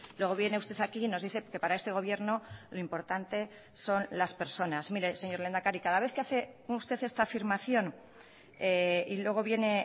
luego viene usted aquí y nos dice que para este gobierno lo importante son las personas mire señor lehendakari cada vez que hace usted esta afirmación y luego viene